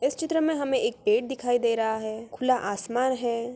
इस चित्र में हमें एक पेड़ दिखाई दे रहा है खुला आसमान है।